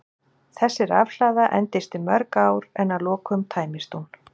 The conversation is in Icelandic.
Þessi rafhlaða endist í mörg ár en að lokum tæmist hún.